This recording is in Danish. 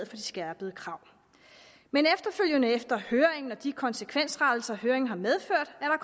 de skærpede krav men efter høringen og de konsekvensrettelser som høringen har medført er